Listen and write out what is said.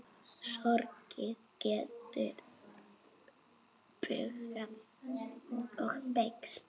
Sorgin getur bugað og beygt.